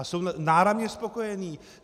A jsou náramně spokojení.